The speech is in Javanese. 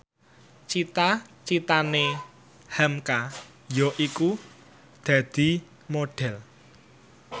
cita citane hamka yaiku dadi Modhel